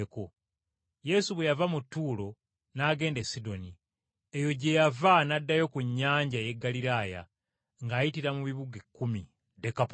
Yesu bwe yava mu Ttuulo n’agenda e Sidoni, eyo gye yava n’addayo ku nnyanja ey’e Ggaliraaya ng’ayitira mu “Bibuga Ekkumi” (Dekapoli).